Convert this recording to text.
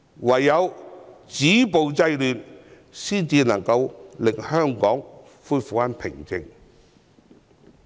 唯有止暴制亂才能令香港恢復平靜。